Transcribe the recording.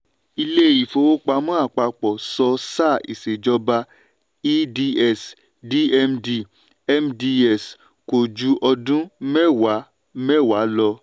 ilé ìfowópamọ́ àpapọ̀ sọ sáà ìṣèjọba eds dmd mds kò ju ọdún mẹ́wàá mẹ́wàá lọ.